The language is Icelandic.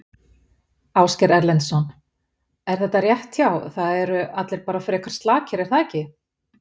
Ásgeir Erlendsson: Er þetta rétt hjá, það eru allir bara frekar slakir er það ekki?